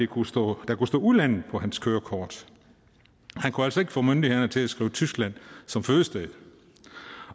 kunne stå udlandet på hans kørekort han kunne altså ikke få myndighederne til at skrive tyskland som fødested